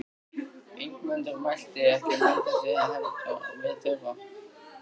Ingimundur mælti: Ekki mun þess heldur við þurfa.